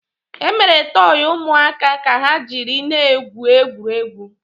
Emere tọọyị ụmụaka ka ha jiri na-egwu egwuregwu.